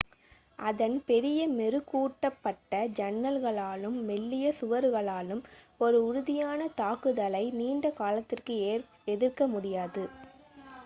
அதன் பெரிய மெருகூட்டப்பட்ட ஜன்னல்களாலும் மெல்லிய சுவர்களாலும் ஒரு உறுதியான தாக்குதலை நீண்ட காலத்துக்கு எதிர்க்க முடியாது